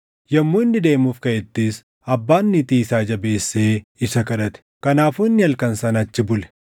Yommuu inni deemuuf kaʼettis abbaan niitii isaa jabeessee isa kadhate; kanaafuu inni halkan sana achi bule.